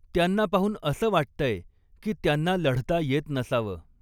त्यांना पाहून असं वाटतंय की त्यांना लढता येत नसावं.